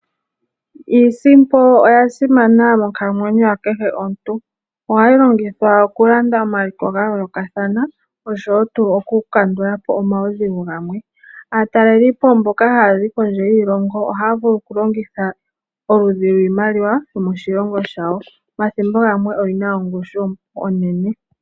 Iisimpo oya simana monkalamwenyo ya kehe omuntu. Ohayi longithwa okulanda omaliko ga yoolokathana oshowoo tuu okukandulapo omaudhigu gamwe . Aatalelipo mboka haya zi kondje yiilongo ohaya vulu okulongitha oludhi lwiimaliwa yomoshilongo shayo, omathimbo gamwe oyi na ongushu onene.